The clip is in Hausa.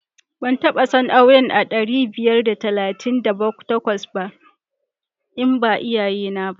Ban taba son auren a ɗari biyar da tamanin da takwas ba in ba iyayena ba.